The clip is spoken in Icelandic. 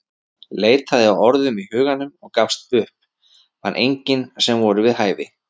Leitaði að orðum í huganum en gafst upp, fann engin sem voru við hæfi.